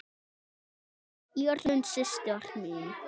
Írunn systir.